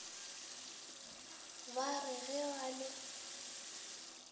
ba re ge ba le